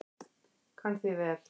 Kann því vel.